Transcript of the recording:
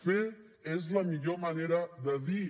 fer és la millor manera de dir